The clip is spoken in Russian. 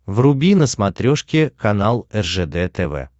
вруби на смотрешке канал ржд тв